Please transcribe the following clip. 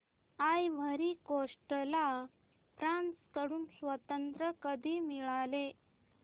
ivory Coast ला France कडून स्वातंत्र्य कधी मिळाले